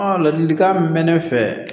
ladilikan min mɛ ne fɛ